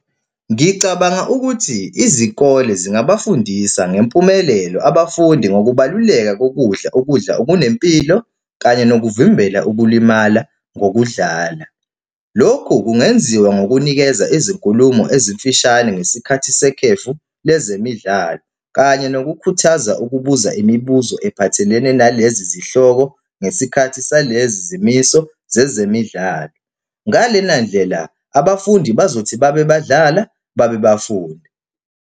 Ngicabanga ukuthi izikole zingabafundisa ngempumelelo abafundi ngokubaluleka kokudla, ukudla okunempilo kanye nokuvimbela ukulimala ngokudlala. Lokhu kungenziwa ngokunikeza izinkulumo ezimfishane ngesikhathi sekhefu lezemidlalo, kanye nokukhuthaza ukubuza imibuzo ephathelene nalezi zihloko ngesikhathi salezi zimiso zezemidlalo. Ngalena ndlela abafundi bazothi babe badlala, babe bafunda.